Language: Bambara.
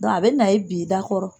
Dɔnku a bɛ na i bi i da kɔrɔ.